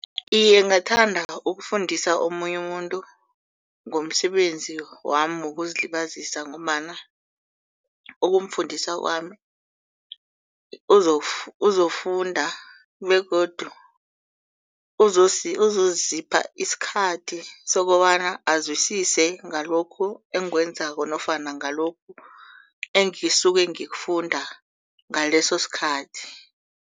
Iye, ngathanda ukufundisa omunye umuntu ngomsebenzi wami wokuzilibazisa ngombana ukumfundisa kwami uzokufunda begodu uzozipha isikhathi sokobana aziswise ngalokhu engiwenzako nofana ngalokhu engizisuke ngikufunda ngaleso sikhathi.